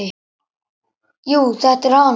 Jú, þetta er hann.